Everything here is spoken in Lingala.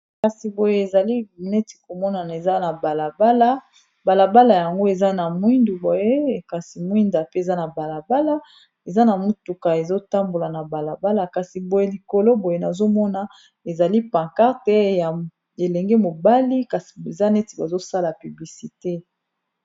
kasi boye ezali neti komonana eza na balabala balabala yango eza na mwindu boye ekasi mwinda pe eza na balabala eza na motuka ezotambola na balabala kasi boye likolo boye nazomona ezali pankar te ya elenge mobali kasi eza neti bazosala piblisite